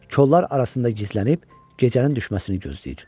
Kollolar arasında gizlənib gecənin düşməsini gözləyir.